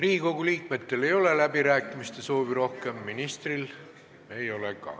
Riigikogu liikmetel ei ole rohkem läbirääkimiste soovi, ministril ka ei ole.